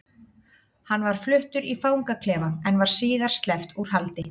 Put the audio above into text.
Hann var fluttur í fangaklefa en var síðar sleppt úr haldi.